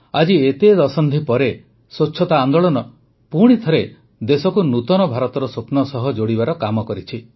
ଆଜି ଏତେ ଦଶନ୍ଧି ପରେ ସ୍ୱଚ୍ଛତା ଆନ୍ଦୋଳନ ପୁଣିଥରେ ଦେଶକୁ ନୂତନ ଭାରତର ସ୍ୱପ୍ନ ସହ ଯୋଡ଼ିବାର କାମ କରିଛି